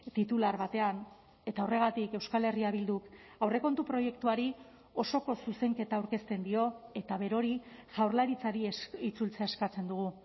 titular batean eta horregatik euskal herria bilduk aurrekontu proiektuari osoko zuzenketa aurkezten dio eta berori jaurlaritzari itzultzea eskatzen dugu